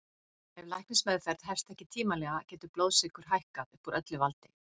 ef læknismeðferð hefst ekki tímanlega getur blóðsykur hækkað upp úr öllu valdi